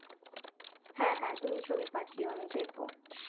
হ্যাঁ হ্যাঁ তুমি ছবি পাঠিও আমি দেখবো